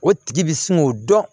O tigi bi sin k'o dɔn